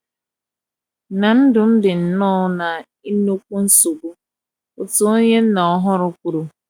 na ndụm di nnọọ na inukwu nsogbu, otu onye nna ọhuru kwuru